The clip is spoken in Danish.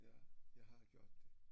Ja jeg har gjort det